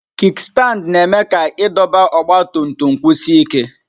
Kikstandi na-eme ka idọba ọgba tum tum kwụsie ike nke.